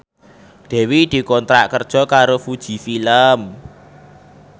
Dewi dikontrak kerja karo Fuji Film